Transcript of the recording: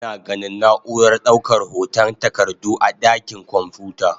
Ana ganin na'urar daukar hotan takardu a dakin kwamfuta.